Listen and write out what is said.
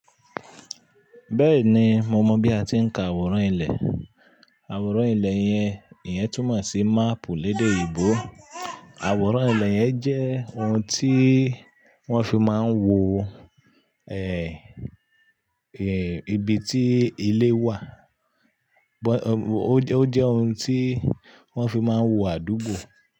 Bẹ́ẹ̀ni, mo mọ̀ bí a ti ń ka àwòrán ilẹ̀. Àwòrán ilẹ̀ yẹn, ìyẹn túmọ̀ sí máàpù lédè ìgbò. Àwòrán ilẹ̀ yẹn jẹ́ ohun tí wọ́n fi máa ń wo, ẹ, ẹ, ibi tí ilé wà. Bọ̀, ọ, ó jẹ́ ohun tí wọ́n fi máa ń wo àdúgbò.